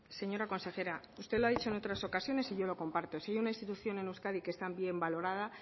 señora consejera usted lo ha dicho en otras ocasiones y yo lo comparto si hay una institución en euskadi que está bien valorada